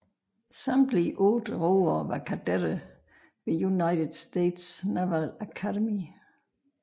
Samtlige otte roere var kadetter ved United States Naval Academy